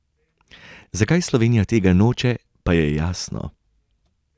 Zakaj Slovenija tega noče, pa je jasno.